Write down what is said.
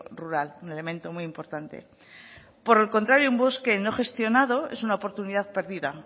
rural un elemento muy importante por el contrario un bosque no gestionado es una oportunidad perdida